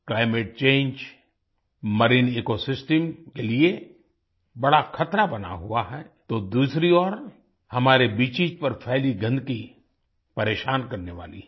Climate change marine ecosystems के लिए बड़ा खतरा बना हुआ है तो दूसरी ओर हमारे बीचेस पर फ़ैली गंदगी परेशान करने वाली है